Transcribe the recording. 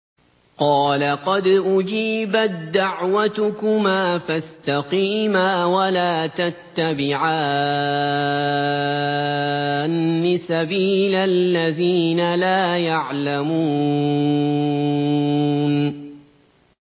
قَالَ قَدْ أُجِيبَت دَّعْوَتُكُمَا فَاسْتَقِيمَا وَلَا تَتَّبِعَانِّ سَبِيلَ الَّذِينَ لَا يَعْلَمُونَ